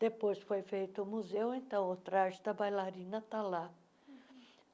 Depois foi feito o museu, então o traje da bailarina está lá.